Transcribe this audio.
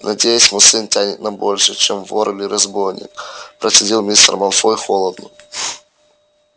надеюсь мой сын тянет на большее чем вор или разбойник процедил мистер малфой холодно